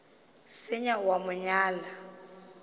senya o a mo nyala